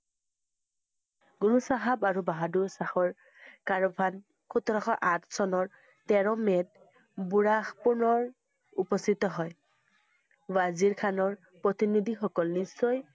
গুৰু চাহাব আৰু বাহাদুৰ শাহৰ সোতৰশ আঠ চনৰ তেৰ ‌মে'ত বুঢ়াপুৰৰ উপস্থিত হয়। ৱাজিৰ খানৰ প্ৰতিনিধিসকল নিশ্চয়